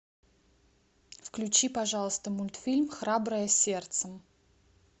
включи пожалуйста мультфильм храброе сердце